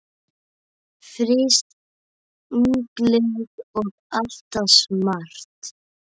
Frísk, ungleg og alltaf smart.